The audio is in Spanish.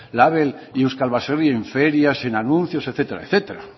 label y euskal baserri en ferias en anuncios etcétera etcétera